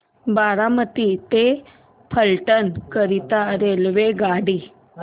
बारामती ते फलटण करीता रेल्वेगाडी